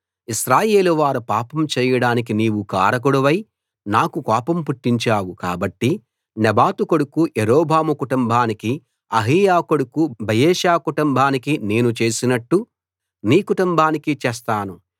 ఇశ్రాయేలువారు పాపం చేయడానికి నీవు కారకుడివై నాకు కోపం పుట్టించావు కాబట్టి నెబాతు కొడుకు యరొబాము కుటుంబానికీ అహీయా కొడుకు బయెషా కుటుంబానికీ నేను చేసినట్లు నీ కుటుంబానికీ చేస్తాను